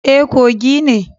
E, Kogi ne.